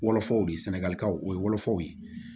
Wolofaw de ye sɛnɛgali ka o ye wolofaw ye